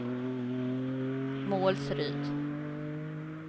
Målsryd